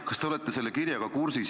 Kas te olete selle kirjaga kursis?